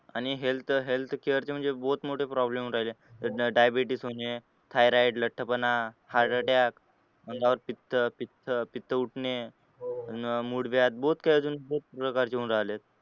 आणि health healthcare ची म्हणजे बहुत मोठे problem होऊन राहिले daibetese होणे thyroide लटपणा heart attack अंगावर पित्त पित्त उठणे मुळव्याध बहुत काही अजून